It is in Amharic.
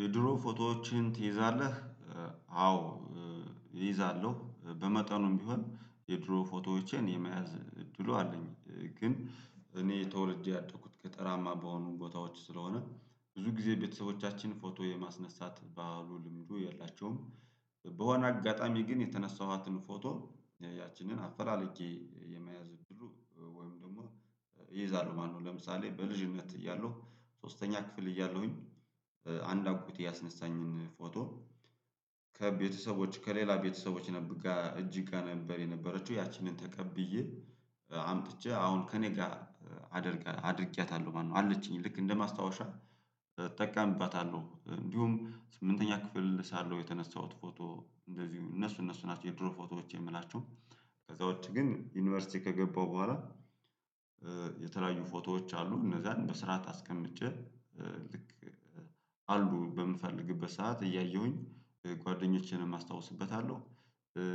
የድሮ ፎቶዎችህን ትይዛለህ? አዎ እይዛለሁ። በመጠኑም ቢሆን የድሮ ፎቶዎቼን የመያዝ እድሉ አለኝ። ግን እኔ ተወልጄ ያደኩት ገጠራማ በሆኑ ቦታዎች ስለሆነ ብዙ ጊዜ ቤተሰቦቻችን ፎቶ የማስነሳት ባህሉ ልምዱ የላቸውም። በሆነ አጋጣሚ ግን የተነሳኋትን ፎቶ ያችንን አፈላለጌ የመያዝ እድሉ ወይም ደግሞ ይይዛሉ። ማነው? ለምሳሌ በልጅነት እያለሁ ሶስተኛ ክፍል እያለሁኝ አንድ አጎቴ ያስነሳኝን ፎቶ ከቤተሰቦች ከሌላ ቤተሰቦች ጋር እጅ ጋር ነበር የነበረችው ያቺን ተቀብዬ አምጥቼ አሁን ከእኔ ጋር አድርጌያታለሁ። ማነው አለችኝ ልክ እንደማስታወሻ እጠቀምባታለሁ። እንዲሁም ስምንተኛ ክፍል ሳለው የተነሳሁት ፎቶ እንደዚሁ እነሱ እነሱ ናቸው የድሮ ፎቶዎች የምላቸው። ከዛ ውጪ ግን ዩኒቨርሲቲ ከገባሁ በኋላ የተለያዩ ፎቶዎች አሉ። እነዛን በስርዓት አስቀምጬ ልክ አሉ በምፈልግበት ሰዓት እያየሁኝ ጓደኞቼንም አስታውስበታለሁ።